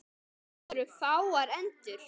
Það voru fáar endur.